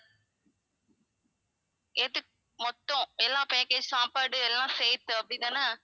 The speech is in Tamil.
எதுக்~ மொத்தம் எல்லா package சாப்பாடு எல்லாம் சேர்த்து அப்படி தான